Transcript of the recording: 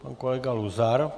Pan kolega Luzar.